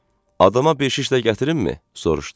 Adama beş şişlə gətirimmmi? - soruşdu.